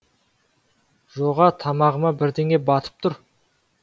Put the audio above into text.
жоға тамағыма бірдеңе батып тұр